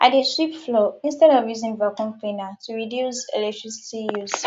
i dey sweep floor instead of using vacuum cleaner to reduce electricity use